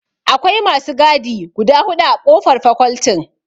Akwai masu gadi guda huɗu a ƙofar fakoltin.